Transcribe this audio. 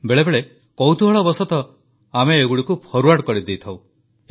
ବେଳେବେଳେ କୌତୁହଳବଶତଃ ଆମେ ଏଗୁଡ଼ିକୁ ଫରୱାର୍ଡ କରିଦେଇଥାଉଁ